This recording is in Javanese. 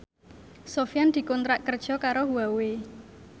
Sofyan dikontrak kerja karo Huawei